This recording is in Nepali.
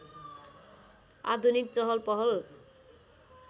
आधुनिक चहलपहल